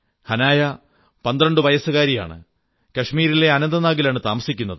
ഹനായ 12 വയസ്സുകാരിയാണ് കശ്മീരിലെ അനന്തനാഗിലാണ് താമസിക്കുന്നത്